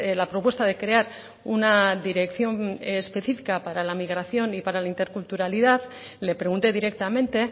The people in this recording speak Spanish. la propuesta de crear una dirección específica para la migración y para la interculturalidad le pregunté directamente